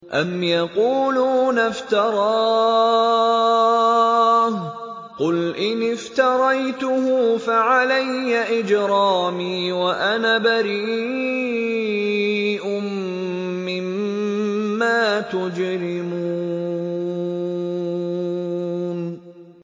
أَمْ يَقُولُونَ افْتَرَاهُ ۖ قُلْ إِنِ افْتَرَيْتُهُ فَعَلَيَّ إِجْرَامِي وَأَنَا بَرِيءٌ مِّمَّا تُجْرِمُونَ